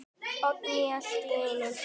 Oddný allt í einu.